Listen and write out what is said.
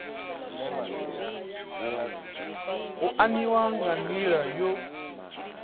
u aniwa nga nila yo